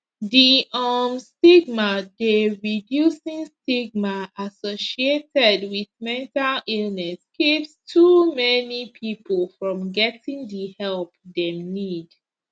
di um stigma dey reducing stigma associated wit mental illness keeps too many pipo from getting di help dem need